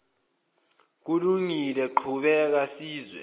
kulungile qhubeka sizwe